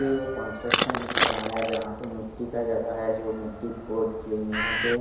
ये एक construction area है जहा पे मिटी का जगह है जो मिटी खोद के यहाँ पे--